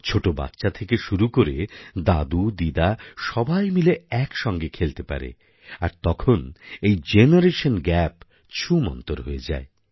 ছোট বাচ্চা থেকে শুরু করে দাদুদিদা সবাই মিলে একসঙ্গে খেলতে পারে আর তখন এই জেনারেশন গ্যাপ ছুমন্তর হয়ে যায়